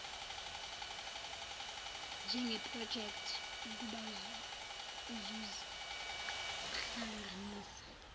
njengeprojekthi kubazuzi ngokuhlanganisa